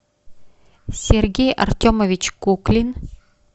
сергей артемович куклин